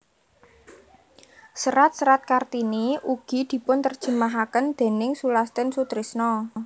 Serat serat Kartini ugi dipunterjemahaken déning Sulastin Sutrisno